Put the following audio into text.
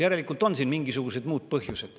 Järelikult on siin mingisugused muud põhjused.